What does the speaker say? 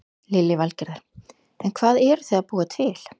Lillý Valgerður: En hvað eruð þið að búa til?